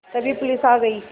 तभी पुलिस आ गई